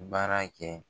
Baara kɛ